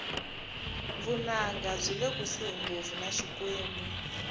vunanga byile kusuhi ngopfu na xikwembu